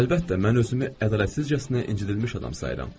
Əlbəttə, mən özümü ədalətsizcəsinə incildilmiş adam sayıram.